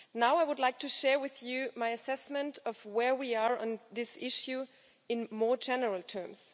I would now like to share with you my assessment of where we are on this issue in more general terms.